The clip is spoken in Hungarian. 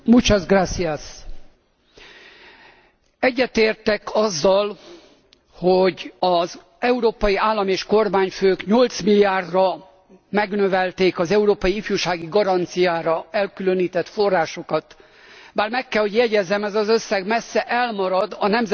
Egyetértek azzal, hogy az európai állam és kormányfők 8 milliárdra megnövelték az európai ifjúsági garanciára elkülönített forrásokat, bár meg kell, hogy jegyezzem ez az összeg messze elmarad a Nemzetközi Munkaügyi Szervezet, az ILO által